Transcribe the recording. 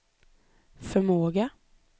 förmåga